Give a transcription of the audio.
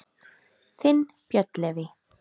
Þinn, Björn Leví.